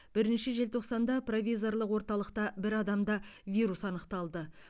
бірінші желтоқсанда провизорлық орталықта бір адамда вирус анықталды